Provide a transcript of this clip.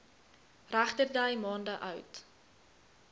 regterdy maande oud